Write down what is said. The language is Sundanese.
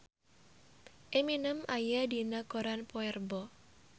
Eminem aya dina koran poe Rebo